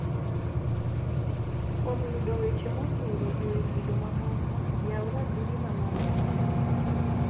Kuom yudo weche modhuro ewi kido mamoko ,yaw ratudi mamalo no.